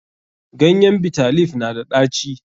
Ganyen Bitter leaf na da ɗaci.